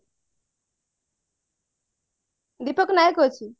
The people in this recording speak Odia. ଦୀପକ ନାୟକ ଅଛି